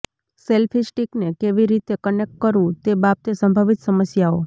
selfie સ્ટીકને કેવી રીતે કનેક્ટ કરવું તે બાબતે સંભવિત સમસ્યાઓ